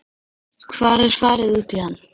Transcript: Hvar er farið út í hann?